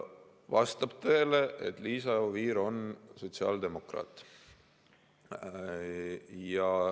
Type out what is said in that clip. Vastab tõele, et Liisa Oviir on sotsiaaldemokraat.